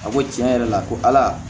A ko tiɲɛ yɛrɛ la ko ala